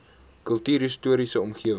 kultuurhis toriese omgewing